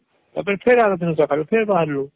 ତାପରେ ଫେର ଆରଦିନ ସକାଳେ ଫେର ବାହାରଲୁ